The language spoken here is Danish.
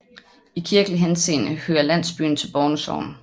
I kirkelig henseende hører landsbyen til Borne Sogn